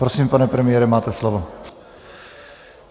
Prosím, pane premiére, máte slovo.